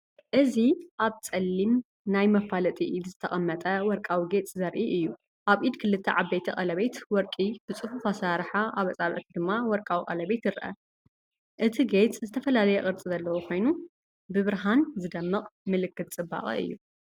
እዚ ኣብ ጸሊም ናይ መፋለጢ ኢድ ዝተቐመጠ ወርቃዊ ጌጽ ዘርኢ እዩ። ኣብ ኢድ ክልተ ዓበይቲ ቀለቤት ወርቂ ብጽፉፍ ኣሰራርሓ ኣብ ኣጻብዕቲ ድማ ወርቃዊ ቀለቤት ይርአ። እቲ ጌጽ ዝተፈላለየ ቅርጺ ዘለዎ ኮይኑ ብብርሃን ዝደምቕ ምልክት ጽባቐ እዩ።